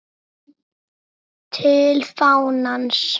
TIL FÁNANS